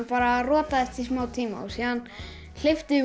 bara rotaðist í smá tíma síðan hleypti